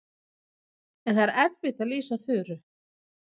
En það er erfitt að lýsa Þuru.